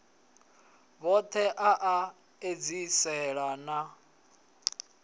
vhothe a a edziselea na